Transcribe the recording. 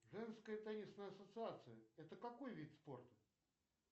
женская теннисная ассоциация это какой вид спорта